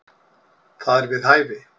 Það er við hæfi.